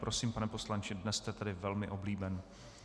Prosím, pane poslanče, dnes jste tedy velmi oblíben.